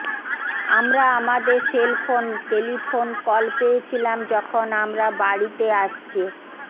আমরা আমাদের cell phone telephone call পেয়েছিলাম যখন আমরা বাড়িতে আসছে